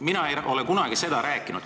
Mina ei ole seda kunagi rääkinud.